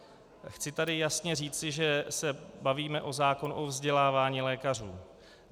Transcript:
Chci tady jasně říci, že se bavíme o zákonu o vzdělávání lékařů.